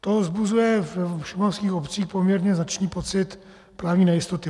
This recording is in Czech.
To vzbuzuje v šumavských obcích poměrně značný pocit právní nejistoty.